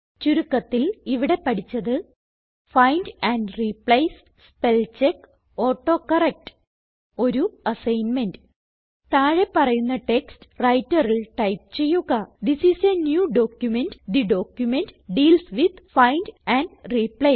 ചുരുക്കത്തിൽ ഇവിടെ പഠിച്ചത് find and replace spell check autocorrect ഒരു അസൈൻമെന്റ് താഴെ പറയുന്ന ടെക്സ്റ്റ് Writerൽ ടൈപ്പ് ചെയ്യുക തിസ് ഐഎസ് a ന്യൂ documentതെ document deals with find and replace